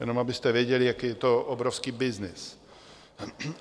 Jenom abyste věděli, jaký je to obrovský byznys.